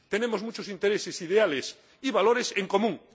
Tenemos muchos intereses, ideales y valores en común.